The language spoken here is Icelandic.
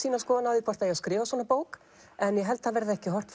skoðun á hvort það eigi að skrifa svona bók en ég held það verði ekki horft